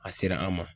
A sera an ma